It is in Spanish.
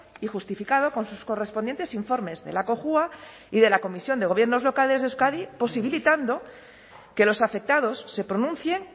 y justificado con sus correspondientes informes de la cojua y de la comisión de gobiernos locales de euskadi posibilitando que los afectados se pronuncien